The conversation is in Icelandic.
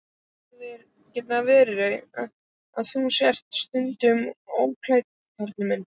Getur það verið, að þú sért stundum ódæll, Karl minn?